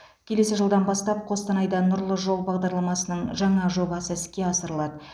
келесі жылдан бастап қостанайда нұрлы жол бағдарламасының жаңа жобасы іске асырылады